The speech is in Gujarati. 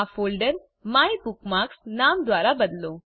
આ ફોલ્ડર માયબુકમાર્ક્સ નામ દ્વારા બદલો